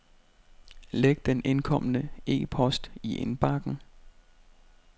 Læg den indkomne e-post i indbakken.